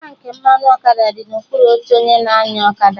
Tankị mmanụ ọkada dị na okpuru oche onye na-anya ọkada